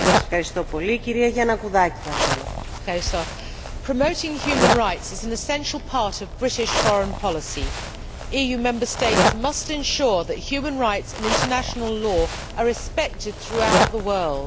Madam President, promoting human rights is an essential part of British foreign policy. EU Member States must ensure that human rights and international law are respected throughout the world.